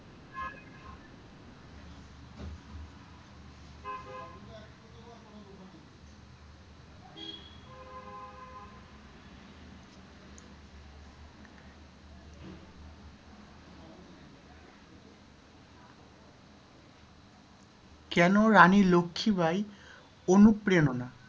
কেন রানী লক্ষীবাঈ অনুপ্রেরণা?